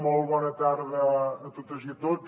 molt bona tarda a totes i tots